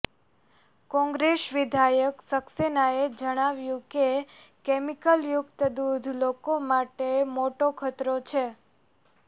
કોંગ્રેસ વિધાયક સક્સેનાએ જણાવ્યું કે કેમિકલ યુક્ત દૂધ લોકો માટે મોટો ખતરો છે